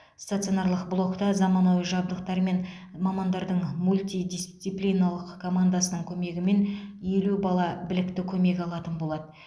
стационарлық блокта заманауи жабдықтар мен мамандардың мультидисциплинарлық командасының көмегімен елу бала білікті көмек алатын болады